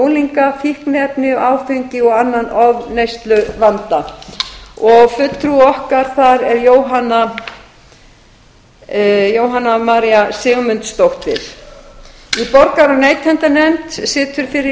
unglinga fíkniefni áfengi og annan ofneysluvanda fulltrúi okkar þar er jóhanna maría sigmundsdóttir í borgara og neytendanefnd situr fyrir